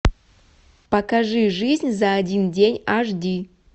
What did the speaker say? покажи жизнь за один день аш ди